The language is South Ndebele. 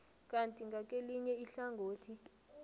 kanti ngakelinye ihlangothi